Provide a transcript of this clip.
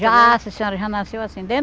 Já, sim senhora, já nasceu assim. Dentro